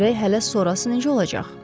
Görək hələ sonrası necə olacaq?